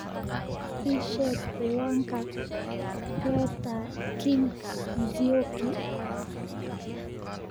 ii sheeg ciwaanka peter king nzioki